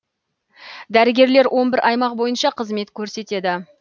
дәрігерлер он бір аймақ бойынша қызмет көрсетеді